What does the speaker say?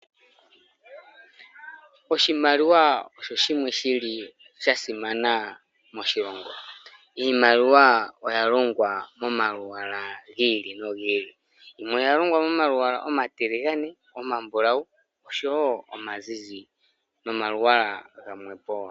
Oshimaliwa osho shimwe shili shasimana moshilongo. Iimaliwa oyalongwa momalwaala gi ili nogi ili. Yimwe oyalongwa momalwaala omatiligane, omambulawu, osho wo omazizi, nomalwaala gamwe po wo.